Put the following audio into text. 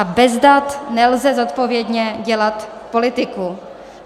A bez dat nelze zodpovědně dělat politiku.